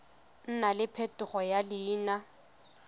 nna le phetogo ya leina